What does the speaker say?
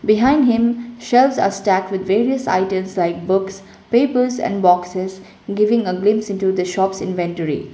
behind him shelves are stacked with various items like books papers and boxes giving a glimpse into the shop's inventory.